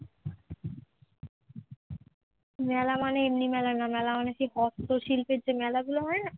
মেলা মানে এমনি মেলা না, মেলা মানে সেই হস্তশিল্পের যে মেলাগুলো হয় না